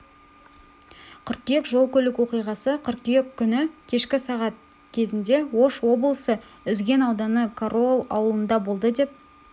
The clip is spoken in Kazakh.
қыркүйек жол-көлік оқиғасы қыркүйек күні кешкі сағат кезінде ош облысы үзген ауданы кароол ауылында болды деп